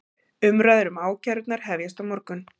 Umræður um ákærurnar hefjast á morgun